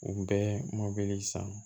U bɛɛ mɔbili san